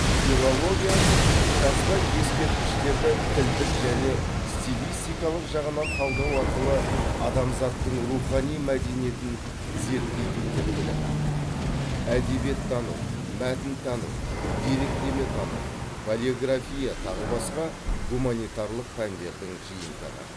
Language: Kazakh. филология жазба ескерткіштерді тілдік және стилистикалық жағынан талдау арқылы адамзаттың рухани мәдениетін зерттейтін тіл білімі әдебиеттану мәтінтану деректеметану палеография тағы басқа гуманитарлық пәндердің жиынтығы